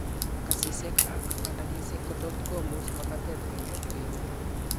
Kasisiek ak bandagisiek kotot komus makatet konyolu kemeto